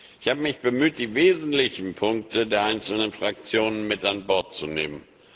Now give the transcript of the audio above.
Ich habe mich bemüht, die wesentlichen Punkte der einzelnen Fraktionen mit an Bord zu nehmen.